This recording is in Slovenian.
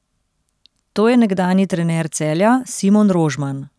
To je nekdanji trener Celja Simon Rožman.